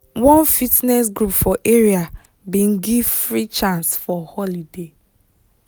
one fitness group for area bin give free chance for holiday